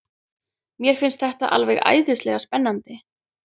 Mér finnst þetta alveg æðislega spennandi.